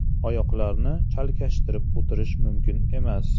Oyoqlarni chalkashtirib o‘tirish mumkin emas.